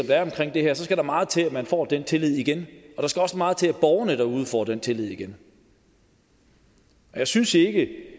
der er omkring det her skal der meget til at man får den tillid igen og der skal også meget til at borgerne derude får den tillid igen og jeg synes ikke at